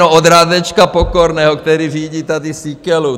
No od Radečka Pokorného, který řídí tady Síkelu!